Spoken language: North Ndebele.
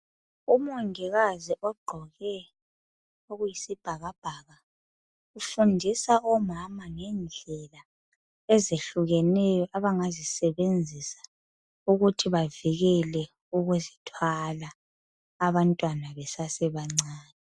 Umongikazi ogqoke okuyisibhakabhaka ufundisa omama ngedlela ezehlukeneyo abangazisebenzisa ukuthi bavikele ukuzithwala abantwana besasebancane.